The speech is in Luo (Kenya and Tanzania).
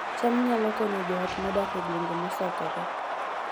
cham nyalo konyo joot modak e gwenge mosokore